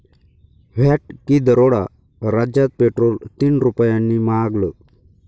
VAT की दरोडा? राज्यात पेट्रोल तीन रुपयांनी महागलं